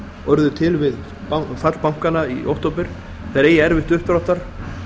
urðu til við fall bankanna í október eigi erfitt uppdráttar